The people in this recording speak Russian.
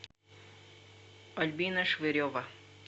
альбина швырева